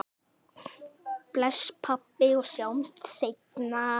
Bless, pabbi, og sjáumst seinna.